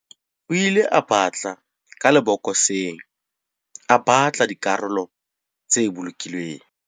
O ile a batla ka lebokoseng a batla dikarolo tse bolokilweng.